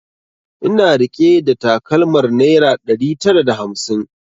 Ina rike da takalmar naira ɗari tara da hamsin